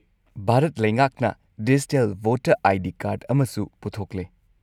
-ꯚꯥꯔꯠ ꯂꯩꯉꯥꯛꯅ digital voter I. D. Card ꯑꯃꯁꯨ ꯄꯨꯊꯣꯛꯂꯦ꯫